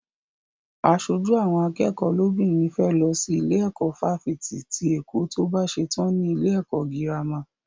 Aṣojú àwọn akẹ́kọ̀ọ́ lóbìnrin fẹ́ lọ sí ilé ẹ̀kọ́ fáfitì ti Èkó tó bá ṣetán ní ilé ẹ̀kọ́ gírámà.